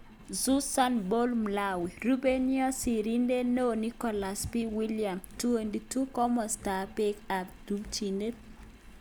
Susan Paul Mlawi. Rupeiywot sirindeet neoo-Nicholaus B.,William.22Komostap peek ak tumchinet.